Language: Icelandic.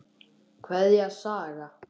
Kveðja, Saga.